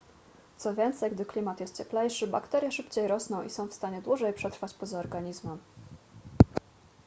co więcej gdy klimat jest cieplejszy bakterie szybciej rosną i są w stanie dłużej przetrwać poza organizmem